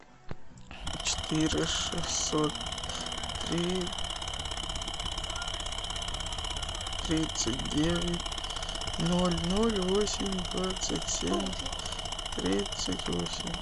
четыре шестьсот три тридцать девять ноль ноль восемь двадцать семь тридцать восемь